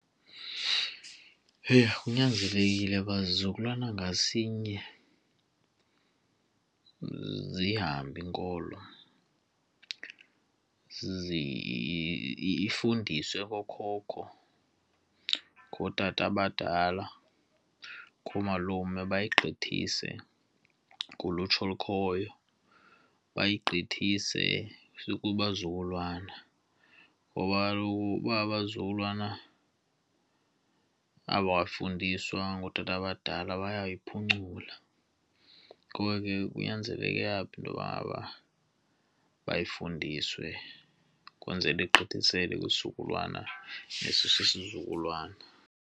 Heyi! Kunyanzelekile uba zizukulwana ngasinye zihambe inkolo, zifundiswe okokoko ngootata abadala, ngoomalume bayagqithise kulutsha olukhoyo. Bayigqithise kubazukulwana ngoba kaloku uba abazukulwana abafundiswa ngootata abadala bayayiphucula. Ngoko ke, kunyanzeleke apho intoba bayifundiswe kwenzele igqithiselwe kwisizukulwana nesizukulwana.